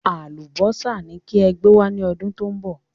Àlùbọ́sà ni kí ẹ gbé wá ní ọdún tó ń bọ̀